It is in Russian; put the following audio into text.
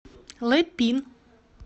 лэпин